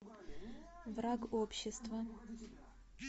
враг общества